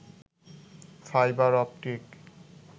fibre optic